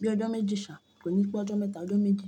Bí i ọjọ́ méjì ṣà, kò ní pẹ́ ọjọ́ mẹ́ta, ọjọ́ méjì.